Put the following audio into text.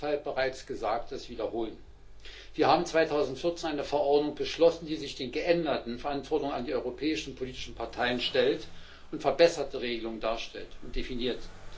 Ich kann deshalb bereits Gesagtes wiederholen Wir haben 2014 eine Verordnung beschlossen, die sich der geänderten Verantwortung an die europäischen politischen Parteien stellt und verbesserte Regelungen darstellt und definiert.